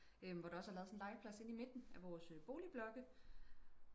øhm hvor der også er lavet sådan en legeplads inde i midten af vores øh boligblokke